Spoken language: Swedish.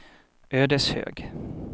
Ödeshög